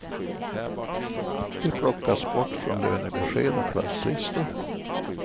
De plockas bort från lönebesked och klasslistor.